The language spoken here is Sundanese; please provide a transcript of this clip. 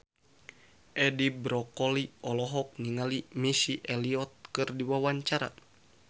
Edi Brokoli olohok ningali Missy Elliott keur diwawancara